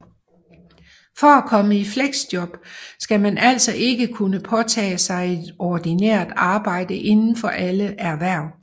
For at komme i fleksjob skal man altså ikke kunne påtage sig et ordinært arbejde inden for alle erhverv